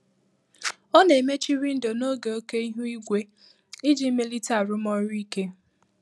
Ọ na-emechi windo n'oge oke ihu igwe iji melite arụmọrụ ike.